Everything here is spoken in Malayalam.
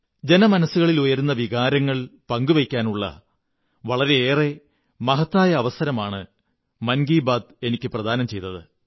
ജനമനസ്സുകളിൽ ഉയരുന്ന വികാരങ്ങൾ പങ്കുവയ്ക്കാനുള്ള വളരെ മഹത്തായ അവസരമാണ് മൻ കീ ബാത്ത് എനിക്കു പ്രദാനം ചെയ്തത്